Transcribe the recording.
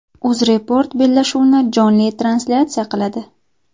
UzReport bellashuvni jonli translyatsiya qiladi.